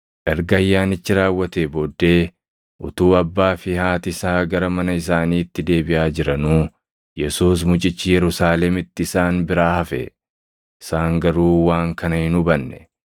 Erga ayyaanichi raawwatee booddee utuu abbaa fi haati isaa gara mana isaaniitti deebiʼaa jiranuu, Yesuus mucichi Yerusaalemitti isaan biraa hafe; isaan garuu waan kana hin hubanne.